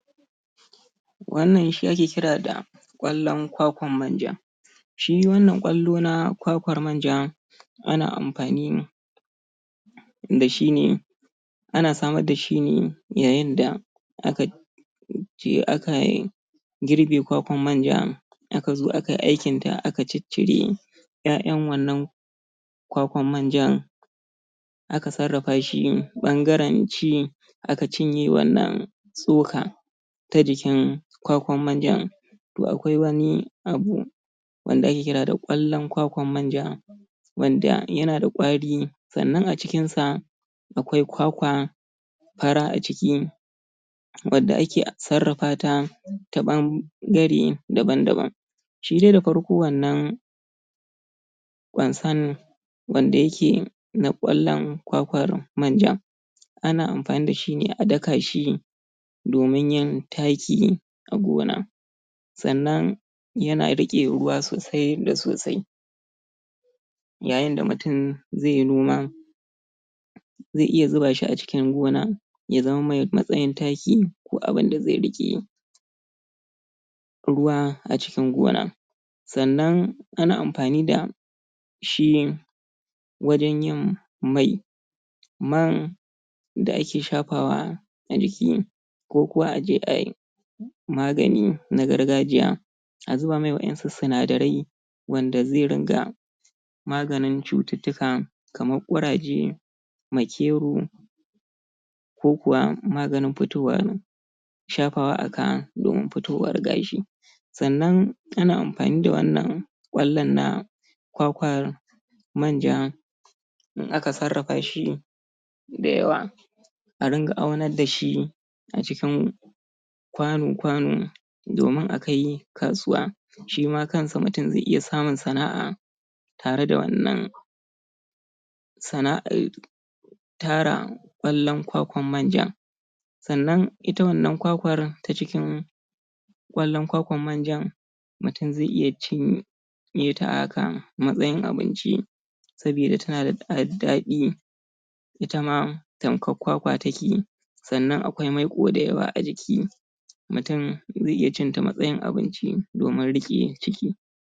Wannan yana nuna mana yadda ake fitar da manja daga jikin kwakwar manja. Da farko dai mutum zai samu kwakwarsa, yayin da ya girbe daga jikin bishiya, ta kwakwar manja. In ya gama wannan girbi, zai sauko da wannan ƴaƴa na kwakwar manjan, bayan ya sauko da wannan ƴaƴa na kwakwar manjan, zai gyaggyara su ya cire iya ƙwallon da yake ɗauke da kwakwar manjan. Bayan ya yi wannan gyaran ya ciccire su da farko, zai zo ya dafa wannan ƴaƴan na kwakwar manjan. Bayan ya dafa shi, wannan ƙwallon, ya fara silala, ya fara laushi, sannan sai ya zo ya ɗauko, ya zo ya samu turminsa, kamar yadda muke gani wannan dai ana cire manjan ne, ta hanyar gargajiya. ga turmin nan, kuma ga mai wannan aiki, na cire man daga jikin kwakwar manjan. Ma'ana sarrafa mai daga jikin wannan kwakwar manjan. To bayan mutum ya dafa, zai zo ya ɗauko ta, ya sami turminsa, ya zo ya zuba. Bayan ya zuba wannan, ƙwallayen da ƴaƴa na kwakwar manjan, zai zo, ya samu hannunsa ya riƙa mutstsukawa bayan ya sa hannunsa ya fara mutstsikawa, wannan, tsokar da ke jikin kwakwar manjan za ta fita ƙwallon ya yi daban shi ma wannan sosuwar To a jikin wannan, sosuwar da take jikin ƙwallon a nan man kwakwar manja yake. yayin da mutum ya fara wannan sarrafawar zai fara fita. In ya fara fita, sai ya zo ya sami kwando, bayan ya samu kwando, zai zo ya samu hannunsa, ya riƙa yaɗowa, yana tace wannan sosuwar ta jikin kwakwar manjan. Bayan ya tace, ya ware, ƙwallon daban, wannan sosuwar daban. To man, zai tsaya a ƙasa ne. Bayan ya tsaya a ƙasa sai ya samu, moɗa wanda zai rinƙa yaɗe wannan ruwa na sama. zai gan shi ya zo da wata kala shi kuma man, yana ƙasa, ko kuwa man, yana sama. zai haɗe da ruwan to sai ya fara yaɗe wannan man da yake saman ruwan, shi kuma yana ƙasa. Yana ware tsakanin ruwan daban. Da kuma wannan dattin, duk zai fitar da shi. Zai amfani da kwando ne, ko rariya, wajen tace wannan. wannan dake tsaki-tsakin, da ƙasar da take ciki.